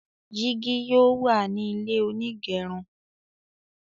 jìgì yóò wá ní ilé onigerun